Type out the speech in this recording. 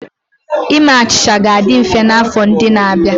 Ime achịcha ga-adị mfe n'afọ ndị na-abịa.